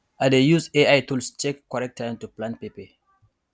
i dey use ai tools check correct time to plant pepper